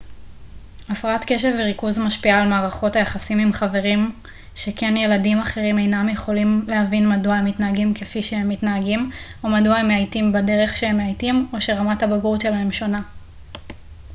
הפרעת קשב וריכוז משפיעה על מערכות היחסים עם חברים שכן ילדים אחרים אינם יכולים להבין מדוע הם מתנהגים כפי שהם מתנהגים או מדוע הם מאייתים בדרך שהם מאייתים או שרמת הבגרות שלהם שונה